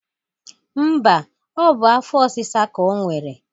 Mba, o bụ afọ osisa ka o nwere.